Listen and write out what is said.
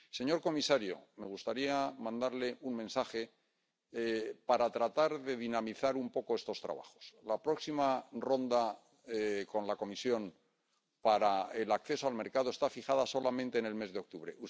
Señor comisario, me gustaría mandarle un mensaje para tratar de dinamizar un poco estos trabajos la próxima ronda con la Comisión para el acceso al mercado está fijada en el mes de octubre